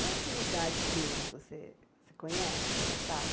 E a atividade deles você cê conhece, você sabe?